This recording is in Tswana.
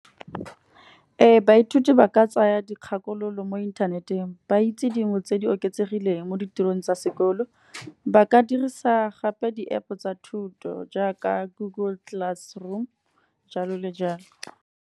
Ee baithuti ba ka tsaya dikgakololo mo inthaneteng ba itse dingwe tse di oketsegileng mo ditirong tsa sekolo. Ba ka dirisa gape di-App tsa thuto, jaaka google class room jalo le jalo.